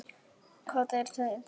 Hvað er enda lífið?